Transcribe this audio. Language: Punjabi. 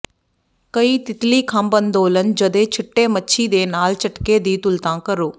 ਕਈ ਤਿਤਲੀ ਖੰਭ ਅੰਦੋਲਨ ਜ ਦੇ ਛਿੱਟੇ ਮੱਛੀ ਦੇ ਨਾਲ ਝਟਕੇ ਦੀ ਤੁਲਨਾ ਕਰੋ